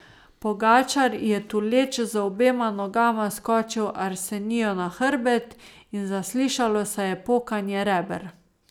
Pogačar je tuleč z obema nogama skočil Arseniju na hrbet, in zaslišalo se je pokanje reber.